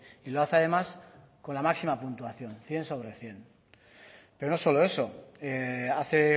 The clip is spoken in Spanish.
y lo hace además con la máxima puntuación cien sobre cien pero no solo eso hace